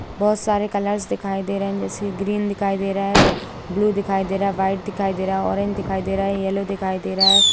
बहुत सारे कलर्स दिखाई दे रहे हैं जैसे ग्रीन दिखाई दे रहा है ब्लू दिखाई दे रहा है वाइट दिखाई दे रहा है ऑरेंज दिखाई दे रहा है येलो दिखाई दे रहा है।